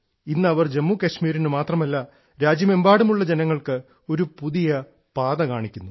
ഇന്ന് അവർ ജമ്മുകാശ്മീരിൽ മാത്രമല്ല രാജ്യമെമ്പാടുമുള്ള ജനങ്ങൾക്ക് ഒരു പുതിയ പാത കാണിക്കുന്നു